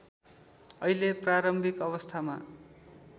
अहिले प्रारम्भिक अवस्थामा